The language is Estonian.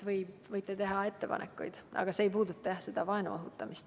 Võite teha ettepanekuid, aga see ei puuduta otseselt vaenu õhutamist.